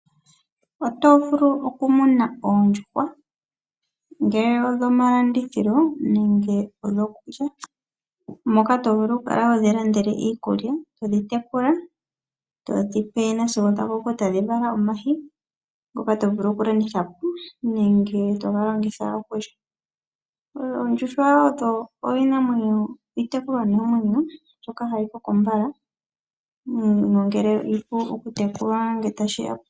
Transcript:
Otovulu okumuna oondjuhwa ongele odhomalandithilo nenge odhokulya. Moka tovulu okukala hodhi landele iikulya, todhi tekula etodhipe sigo dhakoko, etadhi vala omayi ngoka tovulu okulanditha po nenge toga longitha okulya. Oondjuhwa odho iitekulwanamwenyo mbyoka hayi koko mbala.